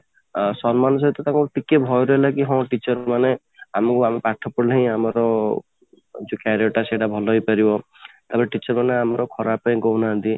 ଆଁ ସମ୍ମାନ ସହିତ କି ତାଙ୍କର ଗୋଟେ ଭୟ ରହିଲା କି ହଁ teacher ମାନେ ଆମକୁ ଆମର ପାଠ ପଢିଲେ ହିଁ ଆମର ଯୋଉ career ଟା ସେଟା ଭଲ ହେଇପାରିବ ଆଉ teacher ମାନେ ଆମର ଖରାପ ପାଇଁ କହୁନାହାନ୍ତି